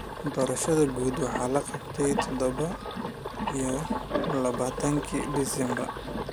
Doorashadii guud waxa la qabtay todoba iyo labaatankii December.